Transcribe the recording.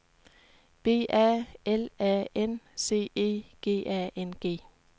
B A L A N C E G A N G